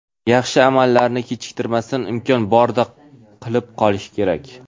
yaxshi amallarni kechiktirmasdan imkon borida qilib qolish kerak.